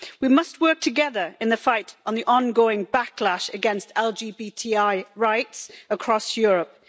We must work together in the fight on the ongoing backlash against LGBTI right across Europe.